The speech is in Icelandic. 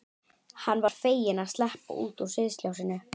Hann var feginn að sleppa út úr sviðsljósinu.